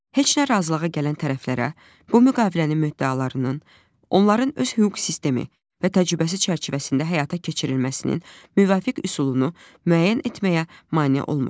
Heç nə razılığa gələn tərəflərə, bu müqavilənin müddəalarının, onların öz hüquq sistemi və təcrübəsi çərçivəsində həyata keçirilməsinin müvafiq üsulunu müəyyən etməyə mane olmur.